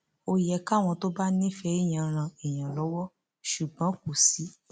ó yẹ káwọn tó bá nífẹẹ èèyàn ran èèyàn lọwọ ṣùgbọn kò sí